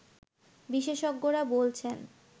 বিশেষজ্ঞরা বলছেন